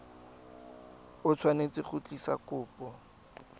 o tshwanetse go tlisa kopo